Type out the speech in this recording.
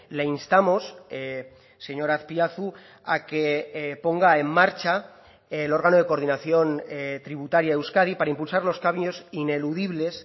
le instamos señor azpiazu a que ponga en marcha el órgano de coordinación tributaria euskadi para impulsar los cambios ineludibles